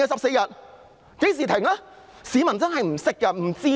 市民真的不懂、不知道的。